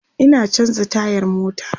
Ina chanza tayar mota